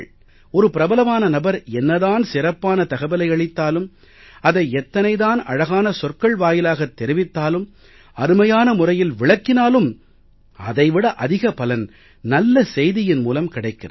ஒரு பிரபலமான நபர் என்ன தான் சிறப்பான தகவலை அளித்தாலும் அதை எத்தனை அழகான சொற்கள் வாயிலாகத் தெரிவித்தாலும் அருமையான முறையில் விளக்கினாலும் அதை விட அதிக பலன் நல்ல செய்தியின் மூலம் கிடைக்கிறது